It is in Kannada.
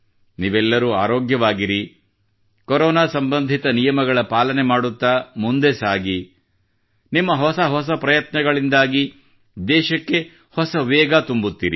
ನೀವೆಲ್ಲರೂ ಆರೋಗ್ಯವಾಗಿರಿ ಕೊರೋನಾ ಸಂಬಂಧಿತ ನಿಯಮಗಳ ಪಾಲನೆ ಮಾಡುತ್ತಾ ಮುಂದೆ ಸಾಗಿ ನಿಮ್ಮ ಹೊಸ ಹೊಸ ಪ್ರಯತ್ನಗಳಿಂದ ದೇಶಕ್ಕೆ ಹೊಸ ವೇಗ ತುಂಬುತ್ತಿರಿ